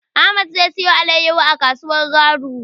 Ahmad zai siyo alaiyahu a kasuwar Garu.